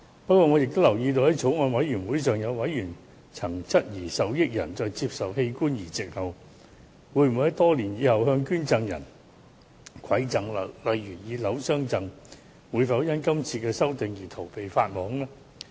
不過，我亦留意到，在法案委員會上，有委員曾質疑受益人在接受器官移植後，會否在多年後才向捐贈人饋贈，例如以樓宇相贈，他們會否因今次修訂而逃避法網呢？